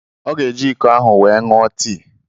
Ọ ga-eji iko ahụ wee ṅụọ tii